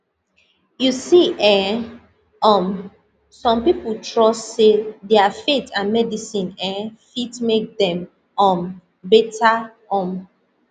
you see um um some people trust say their faith and medicine eh fit make dem um better um